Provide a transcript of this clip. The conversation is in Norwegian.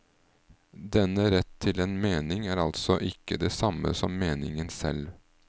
Denne rett til en mening er altså ikke det samme som meningen selv.